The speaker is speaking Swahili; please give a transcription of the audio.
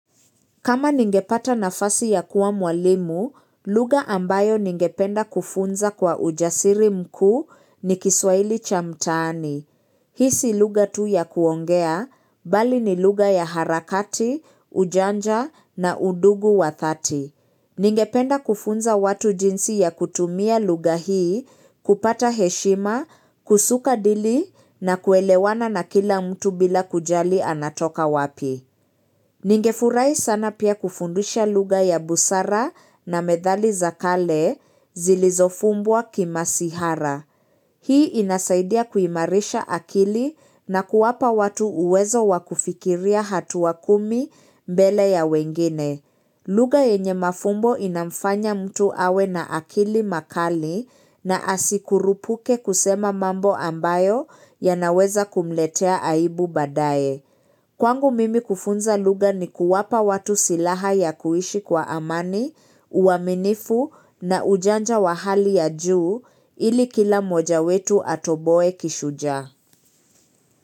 Kama ningepata nafasi ya kuwa mwalimu, lugha ambayo ningependa kufunza kwa ujasiri mkuu ni kiswahili cha mtaani. Hii si lugha tu ya kuongea, bali ni lugha ya harakati, ujanja na udugu wa dhati. Ningependa kufunza watu jinsi ya kutumia lugha hii, kupata heshima, kusuka dili na kuelewana na kila mtu bila kujali anatoka wapi. Ningefurahi sana pia kufundisha lugha ya busara na methali za kale zilizofumbwa kimasihara. Hii inasaidia kuimarisha akili na kuwapa watu uwezo wakufikiria hatua kumi mbele ya wengine. Lugha yenye mafumbo inamfanya mtu awe na akili makali na asikurupuke kusema mambo ambayo yanaweza kumletea aibu badaye. Kwangu mimi kufunza lugha ni kuwapa watu silaha ya kuishi kwa amani, uaminifu na ujanja wa hali ya juu ili kila mmoja wetu atoboe kishujaa.